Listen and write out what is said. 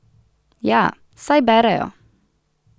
Ja, saj berejo.